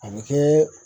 A bɛ kɛ